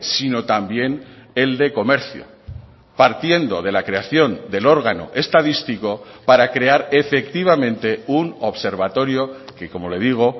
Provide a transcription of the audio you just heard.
sino también el de comercio partiendo de la creación del órgano estadístico para crear efectivamente un observatorio que como le digo